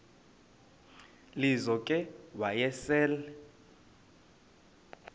lizo ke wayesel